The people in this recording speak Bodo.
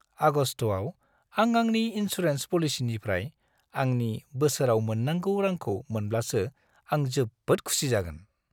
आगस्त'आव आं आंनि इनसुरेन्स पलिसिनिफ्राय आंनि बोसोराव मोननांगौ रांखौ मोनब्लासो आं जोबोद खुसि जागोन।